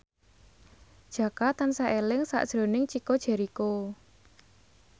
Jaka tansah eling sakjroning Chico Jericho